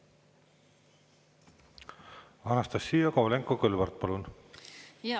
Anastassia Kovalenko-Kõlvart, palun!